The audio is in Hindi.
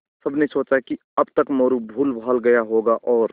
सबने सोचा कि अब तक मोरू भूलभाल गया होगा और